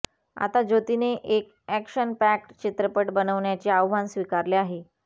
आता ज्योतीने एक अॅक्शनपॅक्ड चित्रपट बनवण्याचे आव्हान स्वीकारले आहे